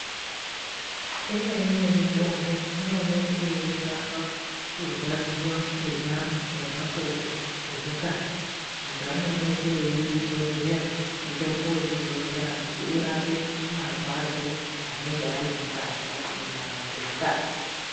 Imweni yemitombo inooneke yeirapa kurwadziwa kenyama nemakodo dzemukati. Antu anooneka eizodzera, mutombo wekuzodzera kuti urape marwadzo anenge ari mukati, munyama dzemukati.